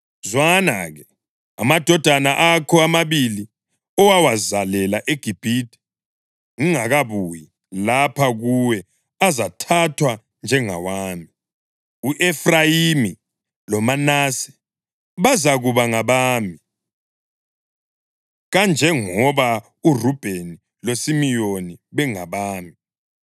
Zwana-ke, amadodana akho amabili owawazalela eGibhithe ngingakabuyi lapha kuwe azathathwa njengawami; u-Efrayimi loManase bazakuba ngabami, kanjengoba uRubheni loSimiyoni bengabami.